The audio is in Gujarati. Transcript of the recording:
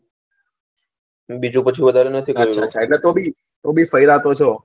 બીજું પછી વધારે નથી જોયું આછા આછા એટલે તો ભી તો ભી ફર્યા તો છો સારું